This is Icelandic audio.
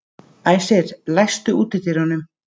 Æsir, læstu útidyrunum.